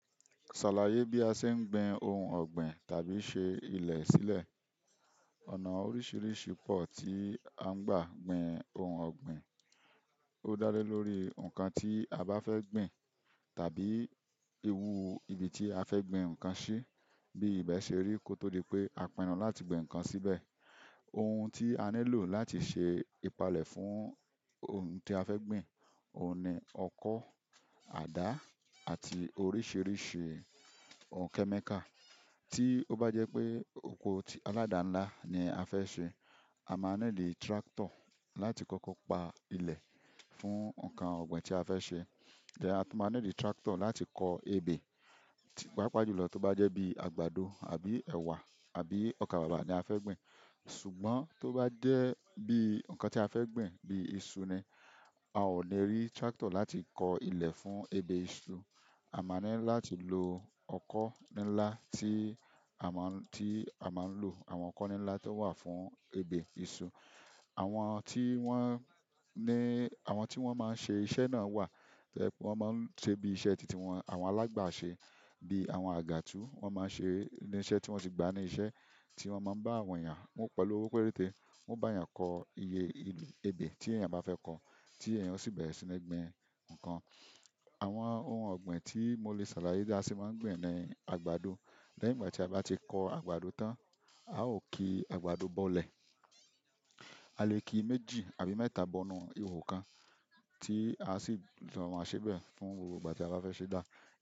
Ṣàlàyé bí a ṣe ń gbin ohun ọ̀gbìn tàbí ṣe ilẹ̀ sílẹ̀. Ọ̀nà oríṣiríṣi pọ̀ tí a ń gbà gbin ohun ọ̀gbìn. Ó dá lé lórí nǹkan tí a bá fẹ́ gbin tàbí ewu ibi tí a fẹ́ gbin nǹkan sí, bí ibẹ̀ ṣe rí kó tó di pé a pinnu láti gbin nǹkan síbẹ̀. Ohun tí a nílò láti ṣe ìpalẹ̀ fún ohun tí a fẹ́ gbin, òun ni ọkọ́, àdá àti oríṣiríṣi òǹkẹ́mẹ́kà. Tí ó bá jẹ́ pé oko aládà ńlá ni a fẹ́ ṣe, a máa nílò tractor láti kọ́kọ́ pa ilẹ̀ fún nǹkan ọ̀gbìn tí a fẹ́ ṣe. Tẹ́ à tú máa nílò tractor láti kọ ebe tí pàápàá jùlọ tó bá jẹ́ bí àgbàdo àbí ẹ̀wà àbí ọkàbàbà ni a fẹ́ gbin. Ṣùgbọ́n tó bá jẹ́ bí nǹkan tí a fẹ́ gbin bí iṣu ni, a ò ní rí tractor láti kọ ilẹ̀ fún ebè iṣu. A máa nílò láti lo ọkọ́ ńlá tí a máa, tí a máa ń lò. Àwọn ọkọ́ ńlá tó wà fún ebè iṣu. Àwọn tí wọ́n ní, àwọn tí wọ́n máa ń ṣe iṣẹ́ náà wà. Wọ́n máa ń ṣe bí iṣẹ́ tìtì wọn. Àwọn alágbàṣẹ bíi àwọn àgàtú, wọ́n máa ń ṣe iṣẹ́ tí wọ́n sì gba ní iṣẹ́ tí wọ́n máa ń bá àwọn èèyàn mú pẹ̀lú owó pérétè. Wọn bá eyan ko iye ebe ti eyan ba fe kó ti eyan o si bẹrẹ si n gbìn nkan. Àwọn ohun ọ̀gbìn tí mo lè ṣàlàyé bí a ṣe máa ń gbìn ni àgbàdo. Lẹ́yìn ìgbà tí a bá ti kọ àgbàdo tán, a ó ki àgbàdo bọ́lẹ̀. Alẹ́ ki méjì àbí mẹ́ta bonu iwo kan ti asi lo maa se be fún gbogbo ìgbà ti aba fe se da.